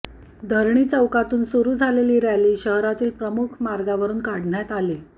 धरणी चौकातून सुरू झालेली रॅली शहरातील प्रमुख मार्गावरुन काढण्यात आली